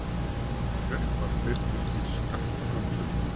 Kreppan birtist í skattframtölum